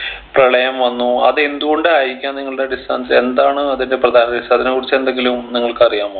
പ്രളയം വന്നു അത് എന്ത് കൊണ്ട് ആയിരിക്കാം നിങ്ങളുടെ അടിസ്ഥാനത്തി എന്താണ് അതിൻ്റെ പ്രധാന reason അതിനെ കുറിച്ച് എന്തെങ്കിലും നിങ്ങൾക്ക് അറിയാമോ